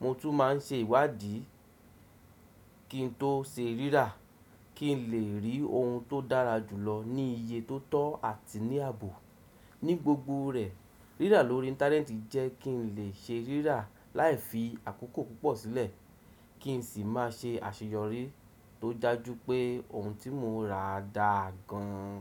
Mo tún máa ń ṣe ìwádìí kí n tó se rírà kí n lè rí ohun tó dára jù lọ ní iye tó tọ́ àti ní ààbò. Ní gbogbo rẹ̀, rírà lórí íńtánẹ́ẹ̀tì jẹ́ kí n lè se rírà láì fi àkókò púpọ̀ sílẹ̀ kí n sì máa ṣe àṣeyọrí tó dá ju pé ohun tí mo rà dáa gan.